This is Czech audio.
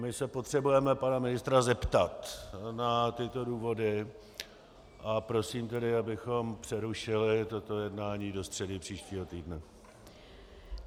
My se potřebujeme pana ministra zeptat na tyto důvody, a prosím tedy, abychom přerušili toto jednání do středy příštího týdne.